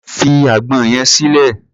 Fi àgbọn yẹn sílẹ̀!